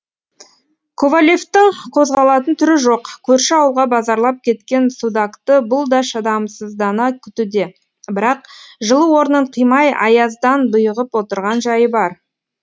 ковалевтің қозғалатын түрі жоқ көрші ауылға базарлап кеткен судакты бұл да шыдамсыздана күтуде бірақ жылы орнын қимай аяздан бұйығып отырған жайы бар